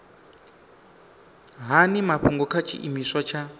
hani mafhungo kha tshiimiswa tsha